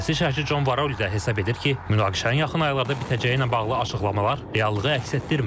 Siyasi şərhçi John Varol isə hesab edir ki, münaqişənin yaxın aylarda bitəcəyi ilə bağlı açıqlamalar reallığı əks etdirmir.